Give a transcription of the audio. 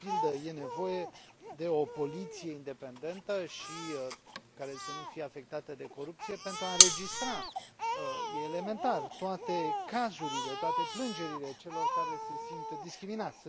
De pildă, e nevoie de o poliție independentă și care să nu fie afectată de corupție pentru a înregistra elementar toate cazurile, toate plângerile celor care se simt discriminați.